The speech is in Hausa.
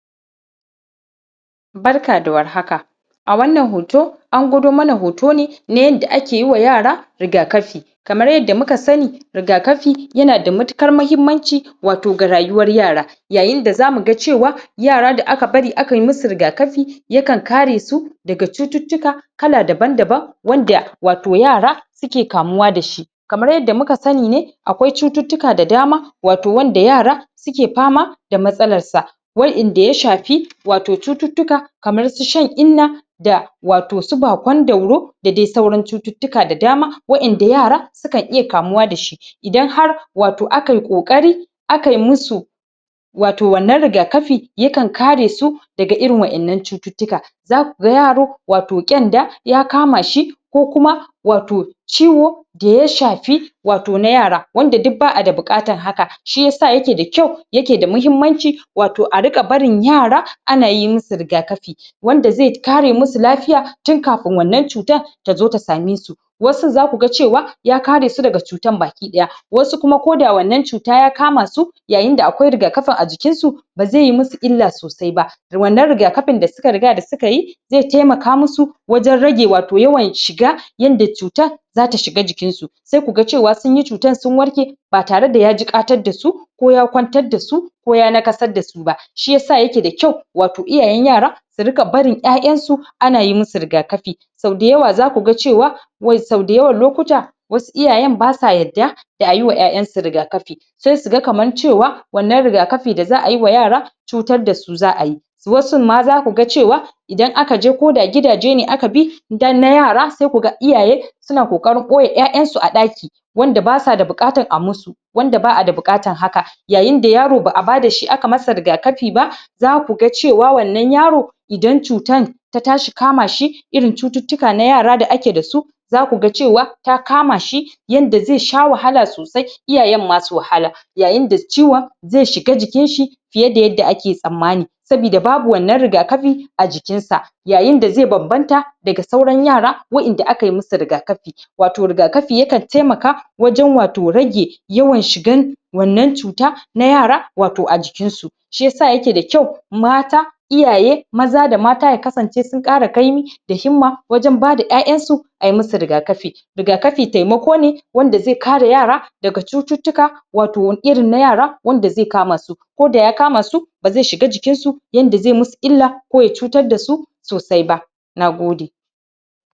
Barka da war haka a wannan hoto an gwado mana hoto ne na yanda ake yiwa yara rigakafi kamar yadda muka sani rigakafi yana da matukar mahimmanci wato ga rayuwar yara yayin da za mu ga cewa yara da aka bari ka yi musu rigakafi ya kan kare su daga cututtuka kala daban-daban wanda wato yara suke kamuwa da shi kamar yadda muka sani akwai cututtuka da dama wato wanda yara suke fama da matsalarsa waƴanda ya shafi wato cututtuka kamar su shan-inna da wato su bakon-dauro da dai sauran cututtuka da dama waƴanda yara su kan iya kamuwa da shi idan har wato aka yi ƙoƙari aka yi musu wato wannan rigakafi ya kan kare su daga irin waƴannan cututtuka za ku ga yaro wato ƙyanda ya kama shi ko kuma wato ciwo da ya shafi wato na yara wanda duk ba a da bukatan haka shi yasa yake da kyau yake da mahimmanci wato a riƙa barin yara ana yi musu rigakafi wanda ze kare musu lafiya tun kafin wannan cutan ta zo ta same su wasun za ku ga cewa ya kare su daga cutan baki-daya wasu kuma ko da wannan cuta ya kama su yayin da akwai rigakafi a jikinsu ba ze yi musu illa sosai ba wannan rigakafin da suka riga da suka yi ze temaka musu wajen rage wato yawan shiga yanda cutan za ta shiga jikinsu sai ku ga cewa sun yi cutan sun warke ba tare da jiƙatar da su ko ya kwantar da su ko ya nakasar da su ba shi yasa yake da kyau wato iyayen yara su rika barin ƴaƴansu ana yi musu rigakafi sau dayawa za ku ga cewa wai sau dayawan lokuta wasu iyayen ba sa yadda da a yi wa ƴaƴansu rigakafi she su ga kaman cewa wannan rigakafi da za a yi wa yara cutar da su za a yi wasun ma za ku cewa idan aka je ko da gidaje ne aka bi dan na yara sai ku ga iyaye su na kokarin ɓoye ƴaƴansu a ɗaki wanda ba sa da buƙatan da a musu wanda ba a da buƙatan haka yayin da yaro ba a bada shi aka masa rigakafi ba za ku ga cewa wannan yaro idan cutan ta tashi kama shi irin cututtuka na yara da ake da su za ku ga cewa ta kama shi yanda ze sha wahala sosai iyayen ma su wahala yayin da ciwon ze shiga jikinshi fiye da yadda ake tsammani sabida babu wannan rigakafi a jikinsa yayin da ze bambanta daga sauran yara waƴanda aka yi musu rigakafi wato rigakafi ya kan temaka wajen wato rage yawan shigan wannan cuta na yara wato a jikinsu shi yasa yake da kyau mata iyaye maza da mata ya kasance sun ƙara kaimi da himma wajen ba da ƴaƴansu a yi musu rigakafi rigakafi taimako ne wanda ze kare yara daga cututtuka wato irin na yara wanda ze kama su ko da ya kama su ba ze shiga jikinsu yanda ze musu illa ko ya cutar da su sosai ba na gode